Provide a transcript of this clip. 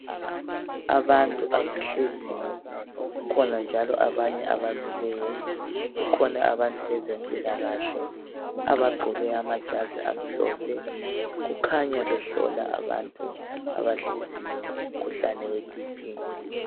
Abantu abahleziyo. Kukhona njalo abanye abemiyo . Kukhona njalo abantu bezempilakahle. Abagqoke amabhatshi amhlophe. Bakhanya behlola abantu abahleziyo, umkhuhlane weBP.